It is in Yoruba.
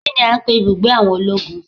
Kini a ń pè ibùgbé àwọn ológun?